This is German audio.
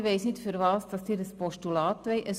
Ich weiss nicht, wozu Sie ein Postulat wollen.